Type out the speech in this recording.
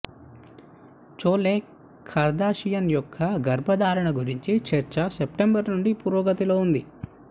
chole Kardashian యొక్క గర్భధారణ గురించి చర్చ సెప్టెంబర్ నుండి పురోగతిలో ఉంది